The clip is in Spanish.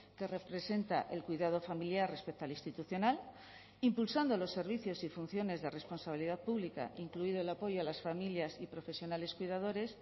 que representa el cuidado familiar respecto al institucional impulsando los servicios y funciones de responsabilidad pública incluido el apoyo a las familias y profesionales cuidadores